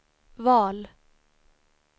val